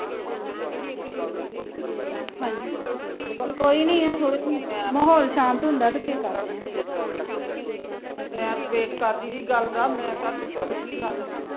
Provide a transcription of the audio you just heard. ਮੈ wait ਕਰਦੀ ਤੀ ਗੱਲ ਦਾ ਮੈ ਕਿਹਾ ਤੂੰ ਕਰੂਗੀ ਗੱਲ